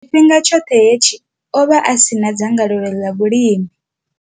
Tshifhinga tshoṱhe hetshi, o vha a si na dzangalelo ḽa vhulimi.